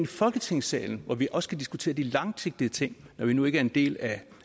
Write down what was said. folketingssalen hvor vi også kan diskutere de langsigtede ting når vi nu ikke er en del af